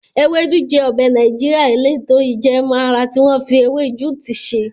Ewedu jẹ ọbẹ̀ Nàìjíríà eleto ijẹẹmu ara tí wọ́n fi ewé juti ṣe.